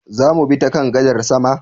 Zamu bi ta kan gadar sama?